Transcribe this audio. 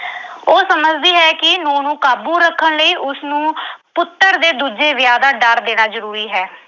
ਉਹ ਸਮਝਦੀ ਹੈ ਕਿ ਨੂੰਹ ਨੂੰ ਕਾਬੂ ਰੱਖਣ ਲਈ ਉਸਨੂੰ ਪੁੱਤਰ ਦੇ ਦੂਜੇ ਵਿਆਹ ਦਾ ਡਰ ਦੇਣਾ ਜ਼ਰੂਰੀ ਹੈ।